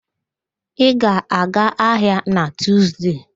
Ị ga-aga ahịa na Tuuzde?